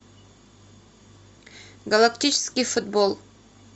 галактический футбол